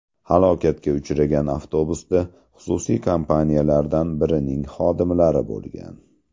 Halokatga uchragan avtobusda xususiy kompaniyalardan birining xodimlari bo‘lgan.